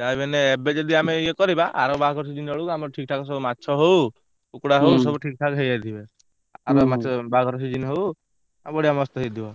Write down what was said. ଯାହା ବି ହେନେ ଏବ ଏଜାଡି ଆମେ ଇଏ କରିବା ଆର ବାହାଘର season ବେଳକୁ ଆମର ଠିକ ଠାକ ସବୁ ଆମର ମାଛ ହଉ କୁକୁଡ଼ା ହଉ ସବୁ ଠିକ ଠକ ହେଇଯାଇଥିବେ ଆର ବାହାଘର season ବେଳକୁ ବଢିଆ ମସ୍ତ୍ ହେଇଥିବ।